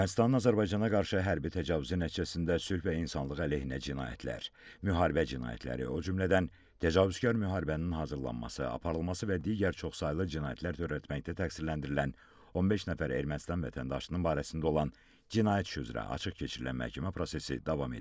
Ermənistanın Azərbaycana qarşı hərbi təcavüzü nəticəsində sülh və insanlıq əleyhinə cinayətlər, müharibə cinayətləri, o cümlədən təcavüzkar müharibənin hazırlanması, aparılması və digər çoxsaylı cinayətlər törətməkdə təqsirləndirilən 15 nəfər Ermənistan vətəndaşının barəsində olan cinayət işi üzrə açıq keçirilən məhkəmə prosesi davam edir.